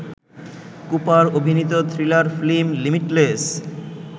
Cooper অভিনীত thriller film limitless